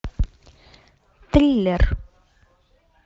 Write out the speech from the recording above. триллер